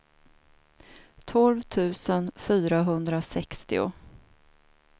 tolv tusen fyrahundrasextio